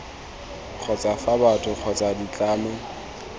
kgotsa fa batho kgotsa ditlamo